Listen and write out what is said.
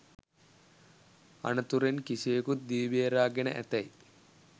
අනතුරෙන් කිසිවෙකුත් දිවි බේරා ගෙන ඇතැයි